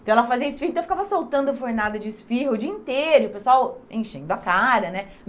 Então ela fazia esfirro, então eu ficava soltando a fornada de esfirro o dia inteiro, o pessoal enchendo a cara, né?